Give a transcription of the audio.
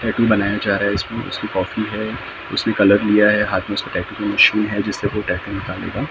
tattoo बनाया जा रहा इसमें उसकी कॉफी है उसने कलर लिया है हाथ में उसके टैटू के निशूल है जिससे वो टैटू निकालने का अब कोई आई--